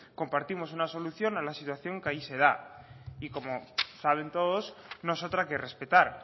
compartimos una solución a la situación que allí se da y como saben todos no es otra que respetar